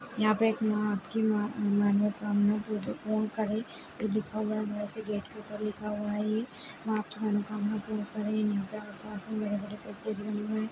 यहाँ पे एक माँ की मा-मनोकामना पूरी-पूर्ण करे लिखा हुआ है वैसे गेट के ऊपर लिखा हुआ है ये माँ की मनोकामना पूर्ण करें इन्हीं के आसपास बड़े बड़े भी बने हुए हैं।